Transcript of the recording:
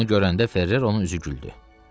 Onu görəndə Ferrer onun üzü güldü.